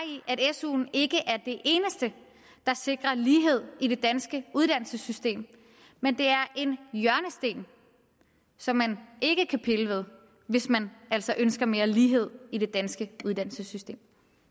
suen ikke er det eneste der sikrer lighed i det danske uddannelsessystem men det er en hjørnesten som man ikke kan pille ved hvis man altså ønsker mere lighed i det danske uddannelsessystem